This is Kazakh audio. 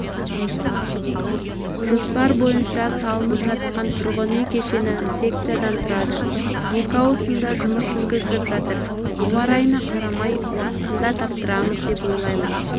жоспар бойынша салынып жатқан тұрғын үй кешені секциядан тұрады екі ауысымда жұмыс жүргізіліп жатыр ауа райына қарамай уақытында тапсырамыз деп ойлаймын